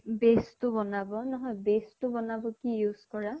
base টো বনাব নহয় base টো বনাব কি use কৰা?